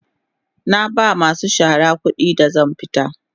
Na ba masu shara kudi da zan tafi.